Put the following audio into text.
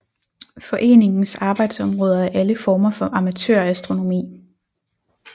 Foreningens arbejdsområde er alle former for amatørastronomi